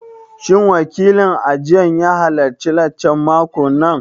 Shin wakilin ajin ya halarci laccan makon nan?